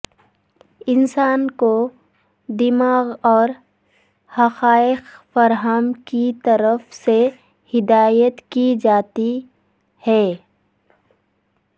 انسان کو دماغ اور حقائق فراہم کی طرف سے ہدایت کی جاتی ہے